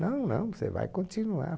Não, não, você vai continuar.